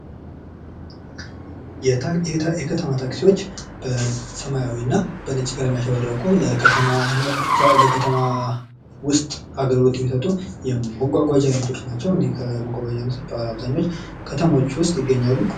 የከተማ ታክሲዎች በሰማያዊ እና በነጭ ያሸበረቁ ለከተማ ውስጥ አገልግሎት የሚሰጡ የመጓጓዣ አይነቶች ናቸው። ከመጓጓዣ አይነቶች አብዛኞች ከከተማዎች ውስጥ ይገኛሉ።